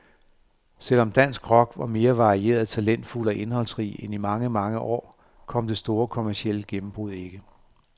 Selv om dansk rock var mere varieret, talentfuld og indholdsrig end i mange, mange år, kom det store kommercielle gennembrud ikke.